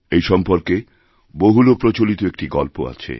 এই সম্পর্কে বহুল প্রচলিত একটি গল্প আছে